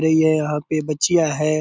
रही है यहाँ पे बच्चियाँ हैं ।